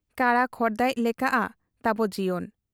ᱠᱟᱬᱟ ᱠᱷᱚᱲᱫᱟᱭᱤᱡ ᱞᱮᱠᱟᱜ ᱟ ᱛᱟᱵᱚ ᱡᱤᱭᱚᱱ ᱾